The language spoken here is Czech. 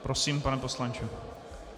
Prosím, pane poslanče.